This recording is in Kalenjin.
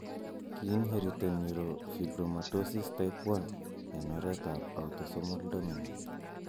Kiinheriten neurofibromatosis type 1 en oret ab autosomal dominant